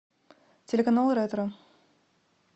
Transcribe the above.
телеканал ретро